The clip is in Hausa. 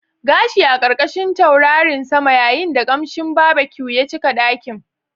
Gashi a ƙarƙashin taurarin sama yayin da ƙamshin barbecue ya cika ɗakin.